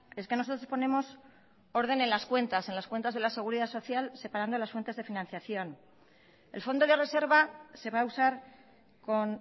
es que nosotros ponemos orden en las cuentas en las cuentas de la seguridad social separando las fuentes de financiación el fondo de reserva se va a usar con